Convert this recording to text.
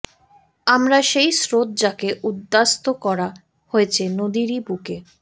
আমরা সেই স্রোত যাকে উদ্বাস্তু করা হয়েছে নদীরই বুকে